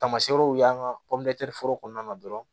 Tamaseerew y'an ka foro kɔnɔna na dɔrɔn